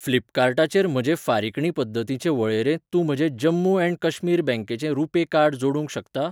फ्लिपकार्टाचेर म्हजे फारिकणी पद्दतींचे वळेरेंत तूं म्हजें जम्मू एण्ड काश्मीर बँकेचें रुपे कार्ड जोडूंक शकता?